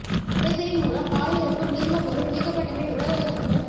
உறைதலின் மூலம் பாலில் இருக்கும் நீர்மப் பொருள் நீக்கப்பட்ட பின் உலர வைக்கப்பட்டு